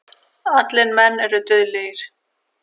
Allir menn eru dauðlegir.